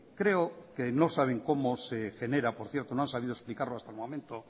creo que no saben cómo se genera por cierto no han sabido explicarlo hasta el momento